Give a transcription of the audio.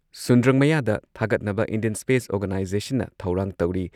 ꯁꯨꯟꯗ꯭ꯔꯪ ꯃꯌꯥꯗ ꯊꯥꯒꯠꯅꯕ Indian space ꯑꯣꯔꯒꯥꯅꯥꯏꯖꯦꯁꯟꯅ ꯊꯧꯔꯥꯡ ꯇꯧꯔꯤ꯫